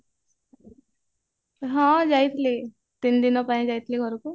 ହଁ ଯାଇଥିଲି ତିନି ଦିନ ପାଇଁ ଯାଇଥିଲି ଘରକୁ